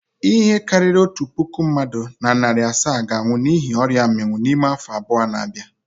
Ihe karịrị otu puku mmadụ na narị asaa ga-anwụ n'ihi ọria mminwu n'ime afọ abụọ na-abịa.